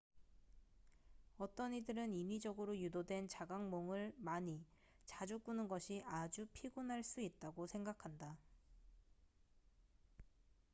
어떤 이들은 인위적으로 유도된 자각몽을 많이 자주 꾸는 것이 아주 피곤할 수 있다고 생각한다